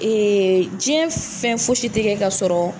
Ee diɲɛ fɛn foyi si tɛ ka sɔrɔ